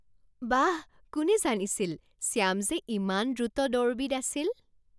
বাহ! কোনে জানিছিল শ্যাম যে ইমান দ্ৰুত দৌৰবিদ আছিল?